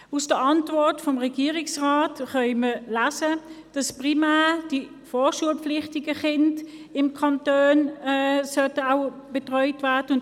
In der Antwort des Regierungsrates können wir lesen, dass primär die vorschulpflichtigen Kinder im Kanton betreut werden sollten.